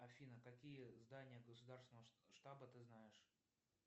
афина какие здания государственного штаба ты знаешь